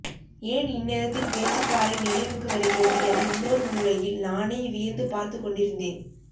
ஏன் இந்நேரத்தில் பேச்சிப்பாறை நினைவுக்கு வருகிறது என இன்னொரு மூலையில் நானே வியந்து பார்த்துக்கொண்டிருந்தேன்